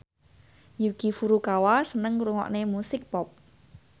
Yuki Furukawa seneng ngrungokne musik pop